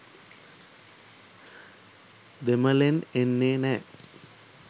දෙමළෙන් එන්නෙ නෑ